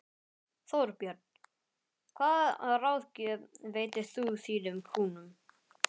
Þorbjörn: Hvaða ráðgjöf veitir þú þínum kúnnum?